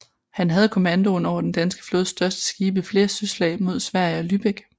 Han havde kommandoen over den danske flådes største skibe i flere søslag mod Sverige og Lübeck